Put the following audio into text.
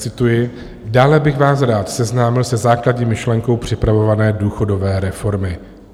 Cituji: "Dále bych vás rád seznámil se základní myšlenkou připravované důchodové reformy.